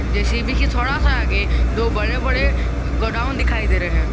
JCB के थोड़ा सा आगे दो बड़े बड़े गोडाउन दिखाई दे रहे है।